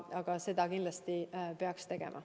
Aga seda kindlasti peaks tegema.